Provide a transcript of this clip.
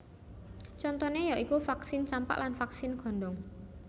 Contoné ya iku vaksin campak lan vaksin gondong